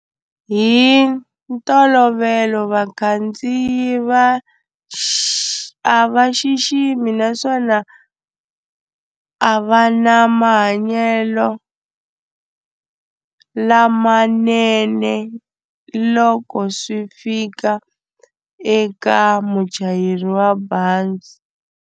Hi ntolovelo vakhandziyi va xi a va xiximi naswona a va na mahanyelo lamanene loko swi fika eka muchayeri wa bazi.